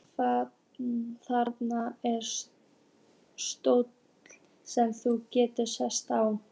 Þarna er stóll sem þú getur sest á.